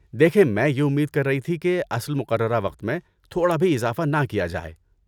دیکھیں، میں یہ امید کر رہی تھی کہ اصل مقررہ وقت میں تھوڑا بھی اضافہ نہ کیا جائے۔